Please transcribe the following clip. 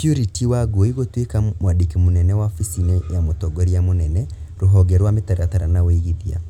Purity Wangui gũtuĩka mwandĩki mũnene wabici-inĩ ya mũtongoria mũnene (rũhonge rwa mĩtaratara na ũigithia